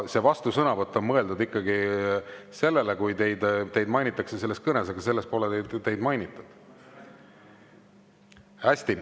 Vastusõnavõtt on mõeldud ikkagi sellele, kui teid mainitakse kõnes, aga selles pole teid mainitud.